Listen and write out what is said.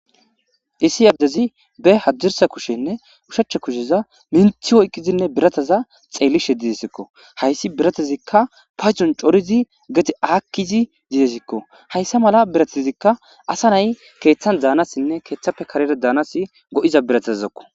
Issi adezi be hadirssa kushshenne ushshscha kushsheza minththi oyqqidine biirataza xelishe desekko haysi biratazika paydon coridi gede akidi desiko haysa mala biratazika asa na7ay keththan danasine keththape karera danas goiza biratazako.